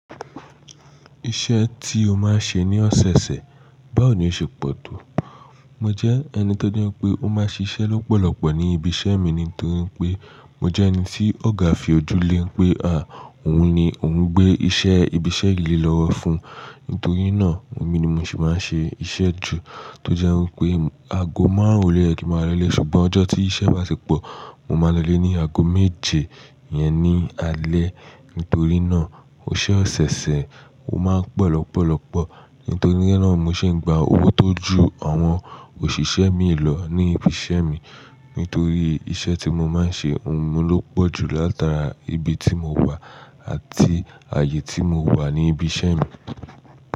Iṣẹ́ tí o máa ń ṣe ní ọ̀sẹ̀ẹ̀sẹ̀, báwo ni o ṣe pọ̀ tó? Mo jẹ́ ẹni tó je pé ó máa ṣiṣẹ́ lọ́pọ̀lọpọ̀ ní ibi iṣẹ́ mi ni torí pé mo jẹ́ ẹni tí ọ̀gá fi ojú lé pé, à, òun ni òun gbé iṣẹ́ ibi iṣẹ́ yìí lé lọ́wọ́ fún. Nítorí náà, èmi ni mo sì máa ń ṣe iṣẹ́ jù, tó jẹ́ wipé aago márùn-ún lo ye kí máa lolé, ṣùgbọ́n ọjọ́ tí iṣẹ́ bá ti pọ̀, mo máa lolé ní aago méje iyẹn ní alẹ́. Nítorí náà, oṣẹ ọ̀sẹ̀ẹ̀sẹ̀ ó máa ń pọ̀ lọ́pọ̀lọpọ̀. Nítorí náà mo sì ń gba owó tó ju àwọn òṣìṣẹ́ mi lọ ní ibi iṣẹ́ mi. Nítorí iṣẹ́ tí mo máa ń ṣe, òun ló pọ̀ jù látara ibi tí mo wà àti ààyè tí mo wà ní ibi iṣẹ́ mi.